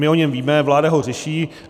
My o něm víme, vláda ho řeší.